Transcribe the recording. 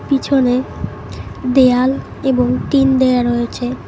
পিছনে দেয়াল এবং টিন দেওয়া রয়েছে।